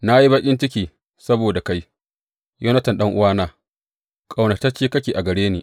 Na yi baƙin ciki saboda kai, Yonatan ɗan’uwana; ƙaunatacce kake a gare ni.